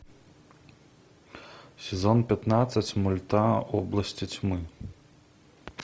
сезон пятнадцать мульта области тьмы